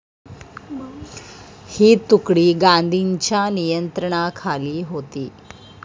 ही तुकडी गांधींच्या नियंत्रणाखाली होती.